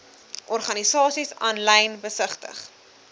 organisasies aanlyn besigtig